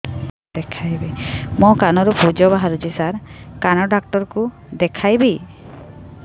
ମୋ କାନରୁ ପୁଜ ବାହାରୁଛି ସାର କାନ ଡକ୍ଟର କୁ ଦେଖାଇବି